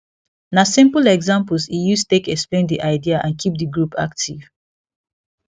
na simple examples e use take explain the idea and keep the group active